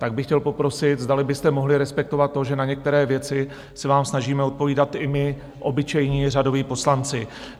Tak bych chtěl poprosit, zdali byste mohli respektovat to, že na některé věci se vám snažíme odpovídat i my, obyčejní řadoví poslanci.